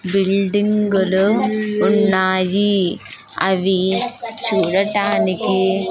బిల్డింగులు ఉన్నాయి అవి చూడటానికి --